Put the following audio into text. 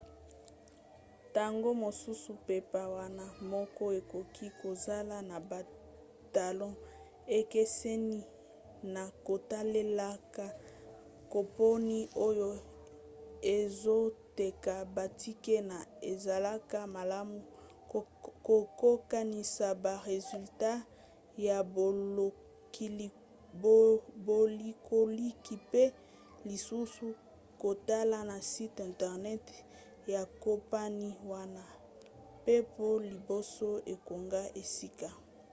ntango mosusu mpepo wana moko ekoki kozala na batalo ekeseni na kotalela kompani oyo ezoteka batike pe ezalaka malamu kokokanisa ba resultat ya bolukiluki mpe lisusu kotala na site intenert ya kompani wana ya mpepo liboso okanga esika